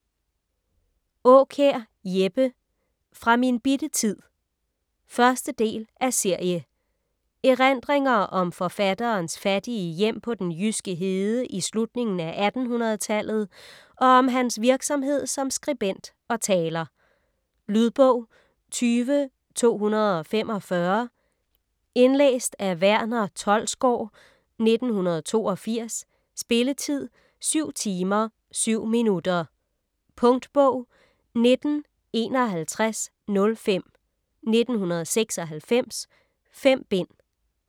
Aakjær, Jeppe: Fra min bitte tid 1. del af serie. Erindringer om forfatterens fattige hjem på den jyske hede i slutningen af 1800-tallet og om hans virksomhed som skribent og taler. Lydbog 20245 Indlæst af Verner Tholsgaard, 1982. Spilletid: 7 timer, 7 minutter. Punktbog 195105 1996. 5 bind.